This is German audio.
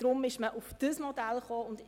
Deshalb ist man zu diesem Modell gekommen.